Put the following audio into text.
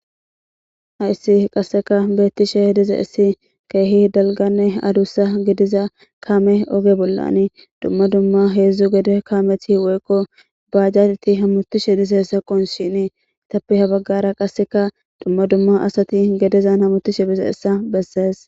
Hayssi qaseka bettishe diizayssi kehi dalgganne adussa gidida kaame ogge bollan dumma dumma heezhzhu gede kaameti woyko bajjajeyti hameishe dizayssa qoncishin etappe ha bagara dumma dumma asati gedezan hammetishe diizayssa besses.